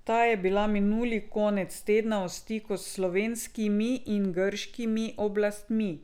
Ta je bila minuli konec tedna v stiku s slovenskimi in grškimi oblastmi.